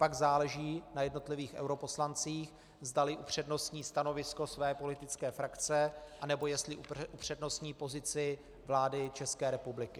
Pak záleží na jednotlivých europoslancích, zdali upřednostní stanovisko své politické frakce, anebo jestli upřednostní pozici vlády České republiky.